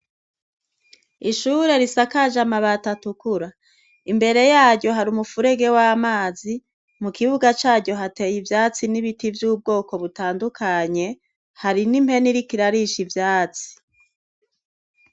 Ishure risakaje amabati atukura imbere yaryo hari umufurege w' amazi mukibuga caryo hateye ivyatsi n' ibiti vy' ubwoko butandukanye, hari n' impene iriko irarisha ivyatsi.